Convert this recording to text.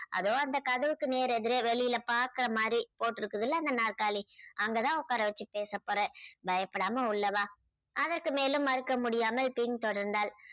அதோ அந்த கதவுக்கு நேர் எதிரே வெளியில பாக்குற மாதிரி போட்டிருக்குதுல அந்த நாற்காலி அங்க தான் உக்கார வச்சு பேச போறேன். பயப்படாம உள்ளே வா. அதற்கு மேலும் மறுக்க முடியாமல் பின் தொடர்ந்தாள்.